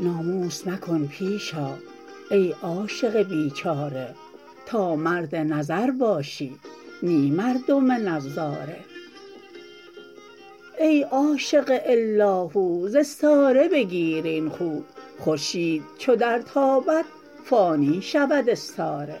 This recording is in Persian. ناموس مکن پیش آ ای عاشق بیچاره تا مرد نظر باشی نی مردم نظاره ای عاشق الاهو ز استاره بگیر این خو خورشید چو درتابد فانی شود استاره